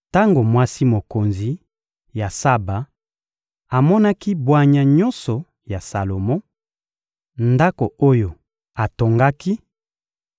Tango mwasi mokonzi ya Saba amonaki bwanya nyonso ya Salomo, ndako oyo atongaki,